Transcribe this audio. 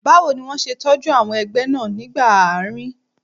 Báwo ni wọ́n ṣe tọ́jú àwọn ẹgbẹ́ náà nígbà àárín?